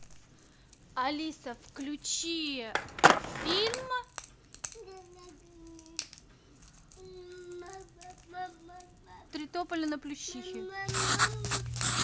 алиса включи фильм три тополя на плющихе